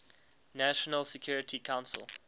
national security council